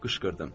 Qışqırdım.